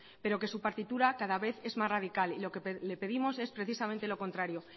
pero que su partitura cada vez es más radical y lo que le pedimos es precisamente lo contrario